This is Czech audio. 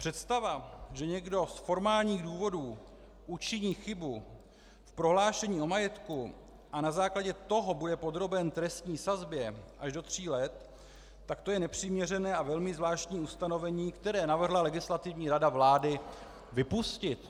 Představa, že někdo z formálních důvodů učiní chybu v prohlášení o majetku a na základě toho bude podroben trestní sazbě až do tří let, tak to je nepřiměřené a velmi zvláštní ustanovení, které navrhla Legislativní rada vlády vypustit.